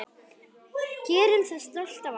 Gerum það stolt af okkur.